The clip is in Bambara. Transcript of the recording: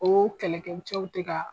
O kɛlɛ kɛ cɛw tɛ ka